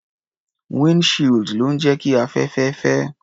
Wínd shield ló ń jẹ́ kí afẹ́fẹ́ fẹ́.